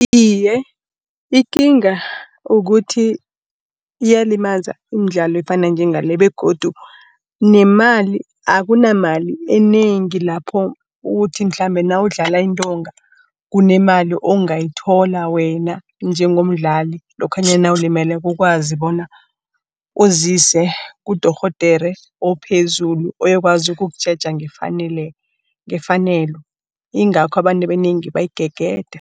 Iye, ikinga kukuthi iyalimaza iimdlalo efana njengale begodu nemali akunamali enengi lapho uthi mhlambe nawudlala iintonga, kunemali ongayithola wena njengomdlali, lokhanyana nawulimeleko ukwazi bona uzise kudorhodera ophezulu. Ozokwazi ukukutjheja ngefanelo, yingakho abantu abanengi bayigegeda.